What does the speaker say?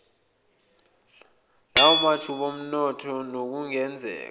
lwamathuba omnotho nokungenzeka